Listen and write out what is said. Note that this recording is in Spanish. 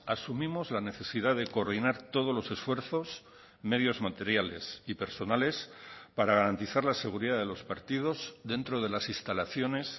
asumimos la necesidad de coordinar todos los esfuerzos medios materiales y personales para garantizar la seguridad de los partidos dentro de las instalaciones